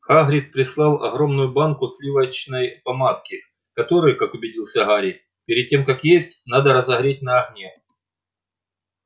хагрид прислал огромную банку сливочной помадки которую как убедился гарри перед тем как есть надо разогреть на огне